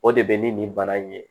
O de bɛ ni nin bana in ye